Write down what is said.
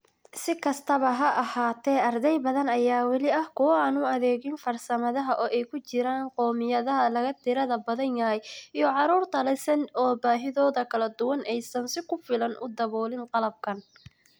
Si kastaba ha ahaatee, arday badan ayaa weli ah kuwo aan u adeegin farsamadan, oo ay ku jiraan qowmiyadaha laga tirada badan yahay iyo carruurta leh SEND oo baahidooda kala duwan aysan si ku filan u daboolin qalabkan.